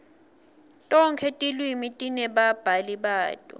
tonkhe tilwimi tinebabhali bato